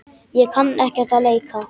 Ég kann ekkert að leika.